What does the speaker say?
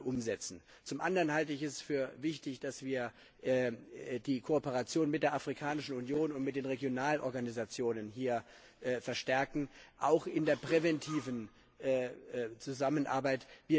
umsetzen. Zum anderen halte ich es für wichtig, dass wir die Kooperation mit der Afrikanischen Union und mit den Regionalorganisationen dabei verstärken, auch in der präventiven Zusammenarbeit.